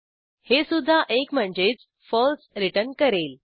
हे सुध्दा एक म्हणजेच फळसे रिटर्न करेल